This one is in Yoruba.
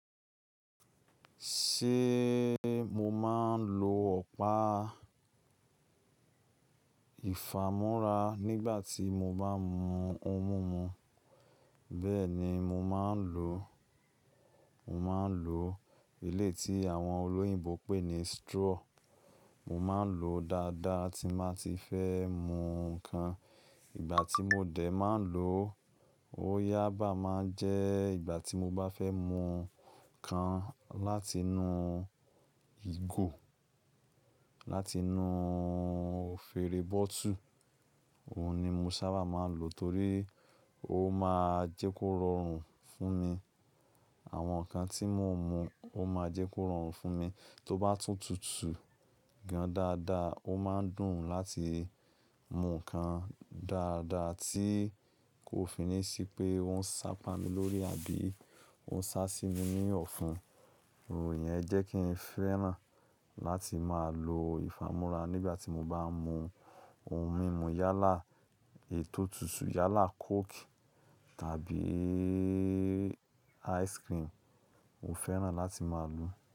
Ṣé mo máa ń lo ọ̀pá ìfàmúrà nígbà tí mo bá ń mu ohun mímu? Bẹ́ẹ̀ni, mo máa ń lò ó. Mo máa ń lò ilé tí àwọn olóyìnbo pè ní straw. Mo máa ń lò ó dáadáa tí bà ti fẹ́ mu nǹkan. Ìgbà tí mo dẹ̀ máa ń lò ó yábàá máa jẹ́ ìgbà tí mo bá fẹ́ mu nǹkan láti inú ìgò, láti inú fèrè bótùù. Òun ni mo sábà máa ń lò torí ó máa jẹ́ kó rọrùn fún mi. Àwọn nǹkan tí mò ń mu ó máa jẹ́ kó rọrùn fún mi. Tó bá tútù tútù gan dáadáa, ó máa ń dùn láti mu nǹkan dáadáa tí kò fi ní ṣí pé ó ń sápa mi lórí àbí ó ń sá sí mi ní ọ̀fun. Òòyẹ́ jẹ́ kí n fẹ́ràn láti máa lo ìfàmúrà nígbà tí mo bá ń mu ohun mímu yálà ètò tútù, yálà coke tàbí ice cream n o fẹ́ràn láti máa lò ó.